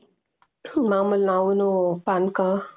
ಮಾಮೂಲಿ ನಾವುನು ಪಾನಕ